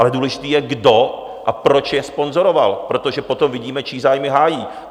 Ale důležité je, kdo a proč je sponzoroval, protože potom vidíme, čí zájmy hájí.